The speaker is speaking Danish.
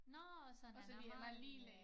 Nåårh så han er meget lille